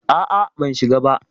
A'a, ban shiga ba.